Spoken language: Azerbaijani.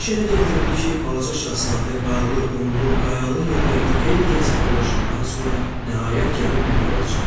İş elə gətirdi ki, balaca Şahzadə qarlı, qumlu, qayalı yerlərdə xeyli gəzib dolaşandan sonra nəhayət gəlib bir yola çıxdı.